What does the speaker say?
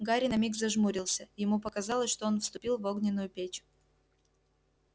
гарри на миг зажмурился ему показалось что он вступил в огненную печь